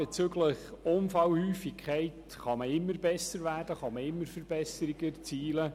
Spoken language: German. Bezüglich der Unfallhäufigkeit kann man immer besser werden, man kann immer Verbesserungen erzielen.